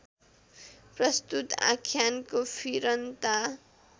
प्रस्तुत आख्यानको फिरन्ता